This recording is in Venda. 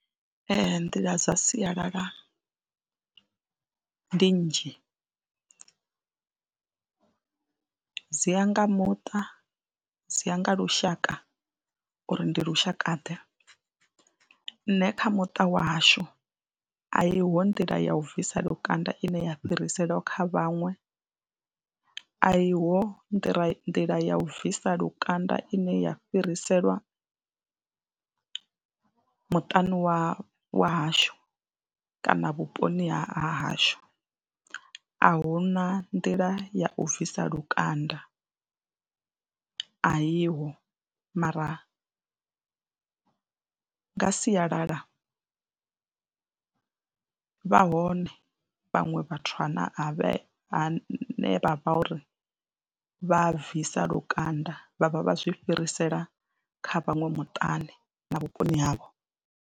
Ee, nḓila dza sialala ndi nnzhi dzi ya nga muṱa, dzi ya nga lushaka uri ndi lushakaḓe. Nṋe kha muṱa wa hashu a i ho nḓila ya u bvisa lukanda ine ya fhiriselwa kha vhaṅwe, a i ho nḓila nḓila ya u bvisa lukanda ine ya fhiriselwa muṱani wa wa hashu kana vhuponi ha hashu. A hu na nḓila ya u bvisa lukanda, a iho mara nga sialala vha hone vhaṅwe vhathu ane a vhe ane a vha uri vha bvisa lukanda vha vha vha zwi fhirisela kha vhaṅwe muṱani na vhuponi havho.